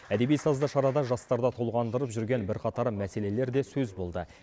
әдеби сазды шарада жастарды толғандырып жүрген бірқатар мәселелер де сөз болды